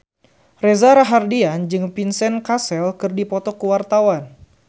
Reza Rahardian jeung Vincent Cassel keur dipoto ku wartawan